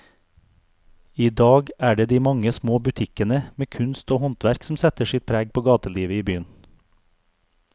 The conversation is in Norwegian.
I dag er det de mange små butikkene med kunst og håndverk som setter sitt preg på gatelivet i byen.